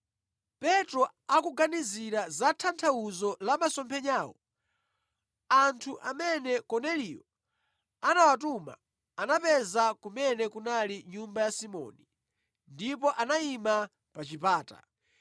Petro akuganizira za tanthauzo la masomphenyawo, anthu amene Korneliyo anawatuma anapeza kumene kunali nyumba ya Simoni ndipo anayima pa chipata.